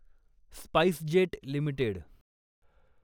SpiceJet limited